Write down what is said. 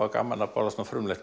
er gaman að borða svona frumlegt